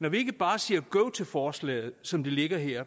når vi ikke bare siger go til forslaget som det ligger her